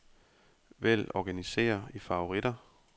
Vælg organiser i favoritter.